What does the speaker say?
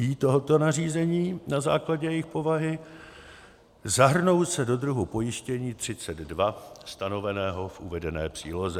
I tohoto nařízení na základě jejich povahy, zahrnou se do druhu pojištění 32 stanoveného v uvedené příloze.